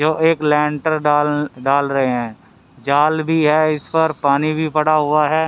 जो एक लैंटर डाल डाल रहे हैं जाल भी है इस पर पानी भी पड़ा हुआ है।